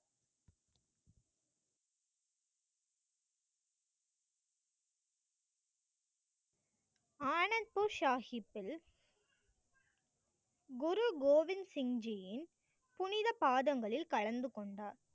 ஆனந்த்பூர் சாஹிப்பில் குரு கோவிந்த் சிங் ஜியின் புனித பாதங்களில் கலந்து கொண்டார்.